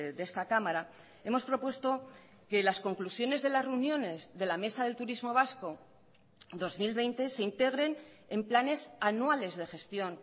de esta cámara hemos propuesto que las conclusiones de las reuniones de la mesa del turismo vasco dos mil veinte se integren en planes anuales de gestión